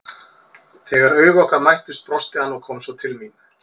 Þegar augu okkar mættust brosti hann og kom svo til mín.